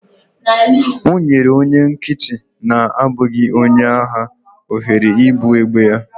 O nyere onye nkịtị na-abụghị onye agha ohere ibu egbe ya